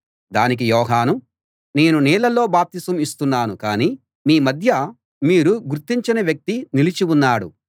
దానికి యోహాను నేను నీళ్లలో బాప్తిసం ఇస్తున్నాను కాని మీ మధ్య మీరు గుర్తించని వ్యక్తి నిలిచి ఉన్నాడు